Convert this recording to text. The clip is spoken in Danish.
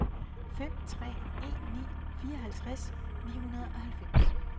fem tre en ni fireoghalvtreds ni hundrede og halvfems